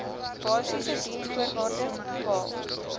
basiese diensvoorwaardes bepaal